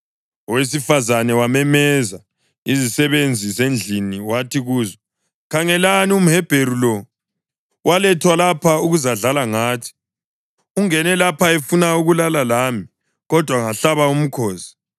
owesifazane wamemeza izisebenzi zendlini wathi kuzo, “Khangelani, umHebheru lo walethwa lapha ukuzadlala ngathi! Ungene lapha efuna ukulala lami, kodwa ngahlaba umkhosi.